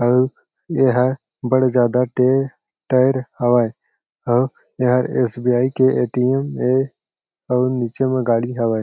अउ ये हा बड़े ज्यादा टे टायर हावय अउ ये हा एस_बी_आई के एटीएम ए आऊ नीचे म गाडी हावय।